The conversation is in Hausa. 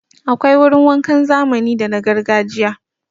Akwai wurin wankan zamani da na gargajiya.